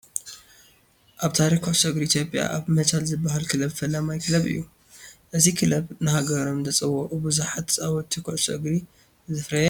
ኣብ ታሪክ ኩዕሶ እግሪ ኢትዮጵያ ኣባ መቻል ዝበሃል ክለብ ፈላማይ ክለብ እዩ፡፡ እዚ ክለብ ንሃገሮም ዘፅውዑ ብዛሓት ተፃወትቲ ኩዕሶ እግሪ ዘፍረየ እዩ፡፡